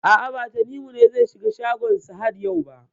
A'a, ba Tanimu ne zai shiga shagon Sahad yau ba.